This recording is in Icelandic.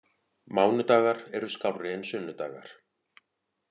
Mánudagar eru skárri en sunnudagar.